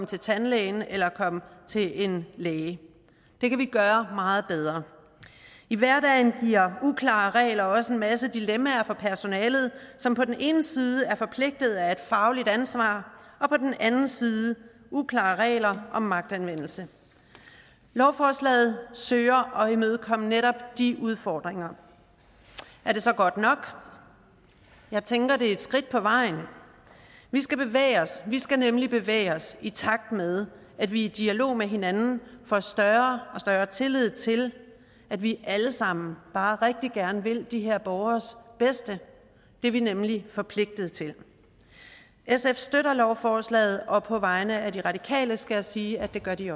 til tandlægen eller komme til en læge det kan vi gøre meget bedre i hverdagen giver uklare regler også en masse dilemmaer for personalet som på den ene side er forpligtet af et fagligt ansvar og på den anden side uklare regler om magtanvendelse lovforslaget søger at imødekomme netop de udfordringer er det så godt nok jeg tænker at det er et skridt på vejen vi skal bevæge os vi skal nemlig bevæge os i takt med at vi i dialog med hinanden får større og større tillid til at vi alle sammen bare rigtig gerne vil de her borgeres bedste det er vi nemlig forpligtet til sf støtter lovforslaget og på vegne af de radikale skal jeg sige at det gør de